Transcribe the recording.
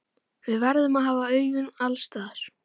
Við verðum að hafa augun alls staðar.